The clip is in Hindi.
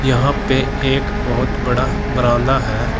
यहां पे एक बहोत बड़ा बरामदा है।